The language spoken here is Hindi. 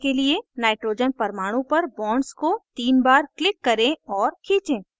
nitrogen परमाणु पर bonds को तीन बार click करें और खींचें